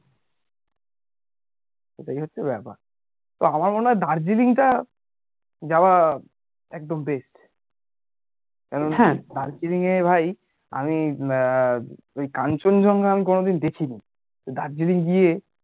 এটাই হচ্ছে ব্যাপার তো আমার মনে হয় দার্জিলিং টা যাওয়া একদম best কারণ দার্জিলিং এ ভাই ওই কাঞ্চনজংঘা আমি কোনোদিন দেখি নি তো দার্জিলিং গিয়ে